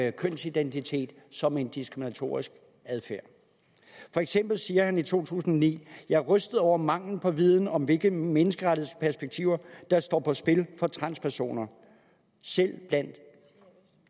af kønsidentitet som en diskriminatorisk adfærd for eksempel siger han i 2009 jeg er rystet over mangelen på viden om hvilke menneskerettighedsperspektiver der står på spil for transpersoner selv blandt